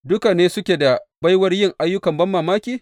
Duka ne suke da baiwar yin ayyukan banmamaki?